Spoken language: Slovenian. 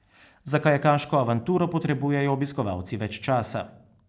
Za kajakaško avanturo potrebujejo obiskovalci več časa.